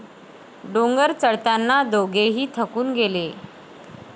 डोंगर चढताना दोघेही थकून गेले.